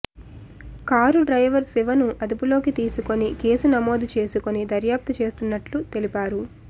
car driver శివను అదుపులోకి తీసుకొని కేసు నమోదు చేసుకొని దర్యాప్తు చేస్తున్నట్లు తెలిపారు